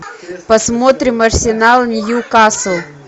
посмотрим арсенал ньюкасл